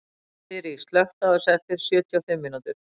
Þyri, slökktu á þessu eftir sjötíu og fimm mínútur.